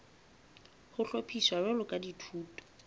ho hlophiswa jwalo ka dithuto